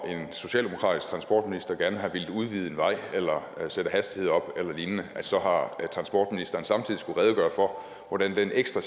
socialdemokratisk transportminister gerne har villet udvide en vej eller sætte hastigheden op eller lignende så har transportministeren samtidig skullet redegøre for hvordan den ekstra